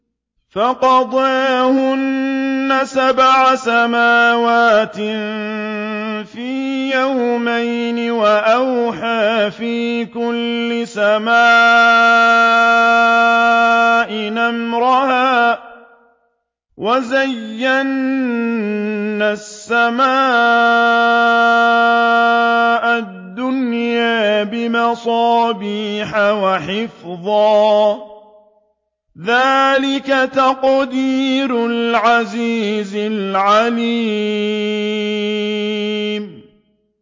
فَقَضَاهُنَّ سَبْعَ سَمَاوَاتٍ فِي يَوْمَيْنِ وَأَوْحَىٰ فِي كُلِّ سَمَاءٍ أَمْرَهَا ۚ وَزَيَّنَّا السَّمَاءَ الدُّنْيَا بِمَصَابِيحَ وَحِفْظًا ۚ ذَٰلِكَ تَقْدِيرُ الْعَزِيزِ الْعَلِيمِ